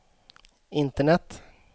internet